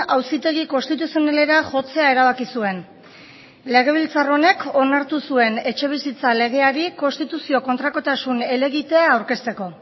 auzitegi konstituzionalera jotzea erabaki zuen legebiltzar honek onartu zuen etxebizitza legeari konstituzio kontrakotasun helegitea aurkezteko